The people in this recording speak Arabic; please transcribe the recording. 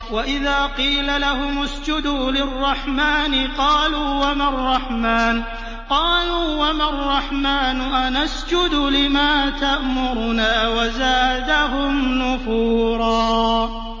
وَإِذَا قِيلَ لَهُمُ اسْجُدُوا لِلرَّحْمَٰنِ قَالُوا وَمَا الرَّحْمَٰنُ أَنَسْجُدُ لِمَا تَأْمُرُنَا وَزَادَهُمْ نُفُورًا ۩